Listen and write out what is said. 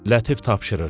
Lətif tapşırırdı.